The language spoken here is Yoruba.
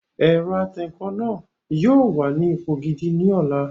Ẹ̀rọ atẹǹkan náà yóò wà ní ipò gidi ní ọ̀la